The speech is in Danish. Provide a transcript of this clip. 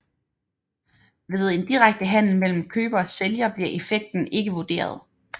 Ved en direkte handel mellem køber og sælger bliver effekten ikke vurderet